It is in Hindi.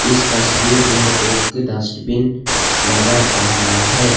इस तस्वीर में एक डस्टबिन नजर आ रहा है।